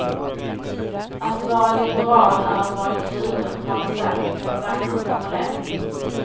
Att vara liberal är att vara kluven, har det sagts med en vacker formulering.